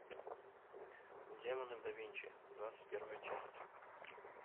демоны да винчи двадцать первая часть